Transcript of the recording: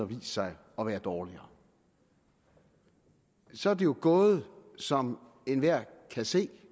vist sig at være dårligere så er det jo gået som enhver kan se